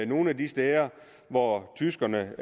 nogle af de steder hvor tyskerne